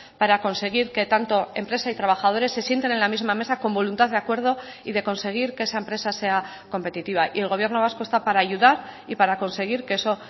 para conseguir que tanto empresa y trabajadores se sienten en la misma mesa con voluntad de acuerdo y de conseguir que esa empresa sea competitiva y el gobierno vasco está para ayudar y para conseguir que eso